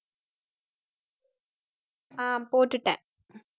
ஆஹ் போட்டுட்டேன்